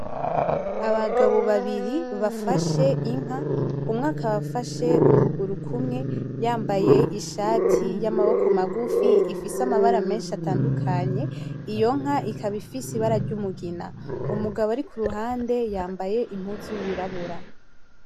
Abagabo babiri bafashe inka, umwe akaba afashe ukuguru kumwe yambaye ishati y'amaboko magufi ifise amabara menshi atandukanye, iyo nka ikaba ifise ibara ry'umugina. Umugabo ari kuruhande yambaye impuzu yirabura.